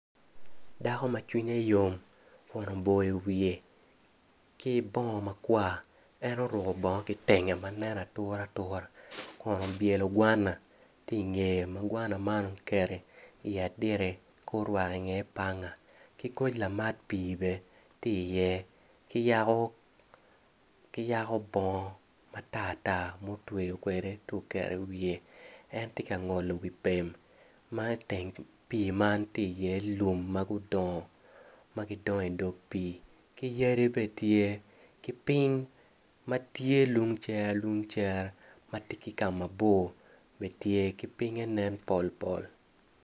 Dako ma cwiny yom kun oboyo wiye ki bongo makwar, en oruko bongo kitenge ma nen ature ature kun obyelo gwan tye ingeye ma gwana man oketo iye adita ka orwako i iye panga ki koc lamat pii bene tye i iye kayako bongo matar tar mutweyo kwede ci oketo i wiye en tye ka ngolo wi pem ma iteng pii man tye iye lum ma gudongo ma gidongo idog pii ki yadi bene tye ki piny matye liung cere lung cere matye ki kamabor bene tye ki pinye nen pol pol